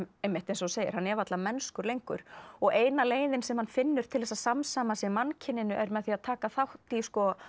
einmitt eins og þú segir hann er varla mennskur lengur og eina leiðin sem hann finnur til að samsama sig mannkyninu er með því að taka þátt í